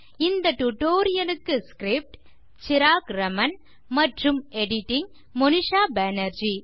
இந்த டியூட்டோரியல் க்கு script160 சிராக் ராமன் மற்றும் editing160 மோனிஷா பேனர்ஜி